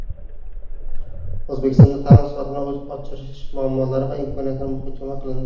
O‘zbekistonda ta’lim sifatini oshirish muammolari va imkoniyatlari muhokama qilindi.